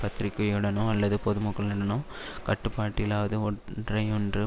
பத்திரிகையுடனோ அல்லது பொதுமக்களுடனோ கட்டுப்பாடில்லாது ஒன்றையொன்று